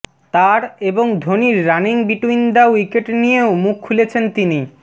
তার এবং ধোনির রানিং বিটুইন দ্য উইকেট নিয়েও মুখ খুলেছেন তিনি